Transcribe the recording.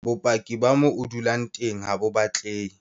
Bopaki ba moo o dulang teng HA BO batlehe.